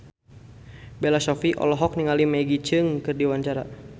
Bella Shofie olohok ningali Maggie Cheung keur diwawancara